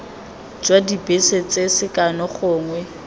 jwa dibese tse sekano gongwe